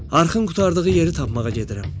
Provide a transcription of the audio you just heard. Arxın qurtardığı yeri tapmağa gedirəm.